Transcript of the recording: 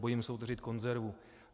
Bojím se otevřít konzervu.